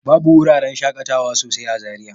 Babu wuraran shaƙatawa sosai a Zariya.